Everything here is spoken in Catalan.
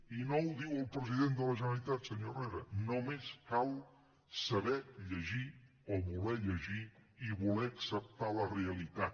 i no ho diu el president de la generalitat senyor herrera només cal saber llegir o voler llegir i voler acceptar la realitat